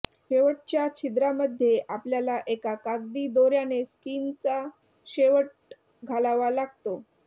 शेवटच्या छिद्रामध्ये आपल्याला एका कागदी दोर्याने स्कीनचा शेवट घालावा लागतो